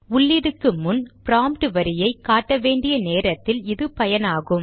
உள்ளீடுக்கு முன் ப்ராம்ட் வரியை காட்ட வேண்டிய நேரத்தில் இது பயனாகும்